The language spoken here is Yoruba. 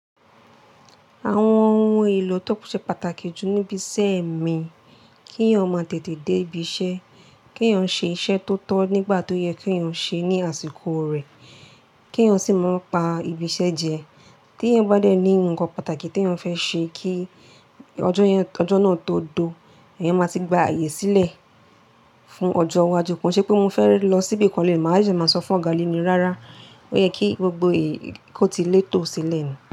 Àwọn ohun èlò tó ṣe pàtàkì jù níbi iṣẹ́ mi, kí èèyàn máa tètè dé ibi iṣẹ́, kí èèyàn ṣe iṣẹ́ tó tọ́ nígbà tó yẹ kí èèyàn ṣe ní àsìkò rẹ̀, kí èèyàn sì máa ń pa ibi iṣẹ́ jẹ. Tí èèyàn bá dẹ́ ní nǹkan pàtàkì tí èèyàn fẹ́ ṣe kí ọjọ́ náà tó de, èèyàn máa ti gba ààyè sílẹ̀ fún ọjọ́ iwájú. Kon se pé mo fẹ́ lọ sí ibi ibikan léni, màá wa sesemáa sọ fún ọ̀gá leni rárá. Ó yẹ kí gbogbo èyí kò ti létò sílẹ̀ ní.